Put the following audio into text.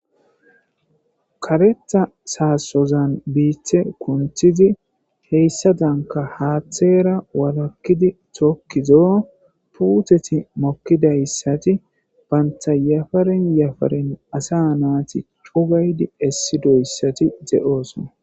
Karetha saassozan biiththe kunthizi heyssa danka haaththeera walakkidi tookkizo puuteti mokkidayssati baynta yafaren yafaren asa naati chugaydi essi doyssati de7oosona.